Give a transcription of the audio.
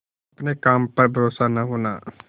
अपने काम पर भरोसा न होना